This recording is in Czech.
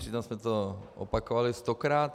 Přitom jsme to opakovali stokrát.